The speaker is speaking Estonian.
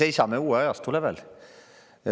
Me seisame uue ajastu lävel.